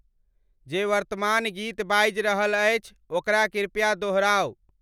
जे वर्तमान गीत बाजि रहल अछि, ओकरा कृपया दोहराउ।